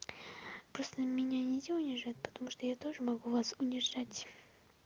просто меня нельзя унижать потому что я тоже могу вас унижать